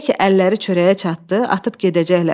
Elə ki əlləri çörəyə çatdı, atıb gedəcəklər.